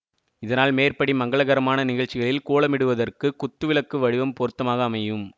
இதனால் மேற்படி மங்களகரமான நிகழ்ச்சிகளில் கோலமிடுவதற்குக் குத்து விளக்கு வடிவம் பொருத்தமாக அமையும்